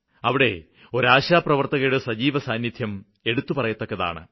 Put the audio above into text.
അവിടെ ഒരു ആശാ പ്രവര്ത്തകയുടെ സജീവസാന്നിദ്ധ്യം എടുത്തുപറയത്തക്കതാണ്